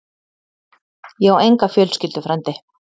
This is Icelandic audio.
Ég á enga fjölskyldu, frændi.